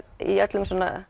í allri